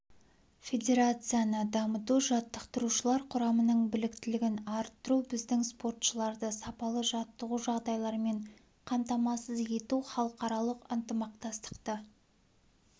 федерацияны дамыту жаттықтырушылар құрамының біліктілігін арттыру біздің спортшыларды сапалы жаттығу жағдайларымен қамтамасыз ету халықаралық ынтымақтастықты